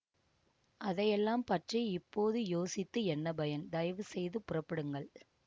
அதையெல்லாம் பற்றி இப்போது யோசித்து என்ன பயன் தயவு செய்து புறப்படுங்கள்